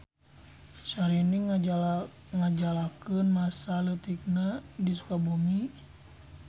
Syahrini ngajalakeun masa leutikna di Sukabumi.